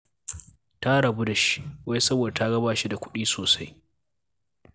Ta rabu da shi, wai saboda ta ga ba shi da kuɗi sosai